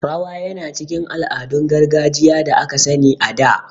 Rawa yana cikin ala'adun gargajiya da aka sani a da